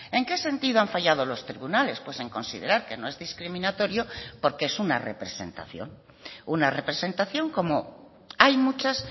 en qué sentido han fallado los tribunales pues en considerar que no es discriminatorio porque es una representación una representación como hay muchas